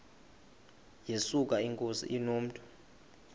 yesuka inkosi inomntu